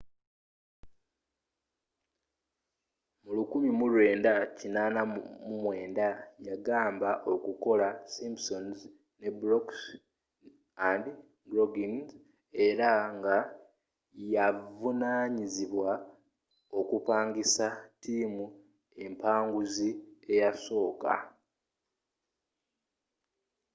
mu 1989 yayamba okukola simpsons ne brooks and groening era nga yaavunanyizibwa okupangisa tiimu empanguzi eyasooka